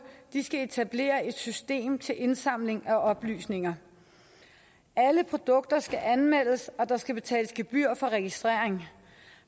skal etablere et system til indsamling af oplysninger alle produkter skal anmeldes og der skal betales gebyr for registrering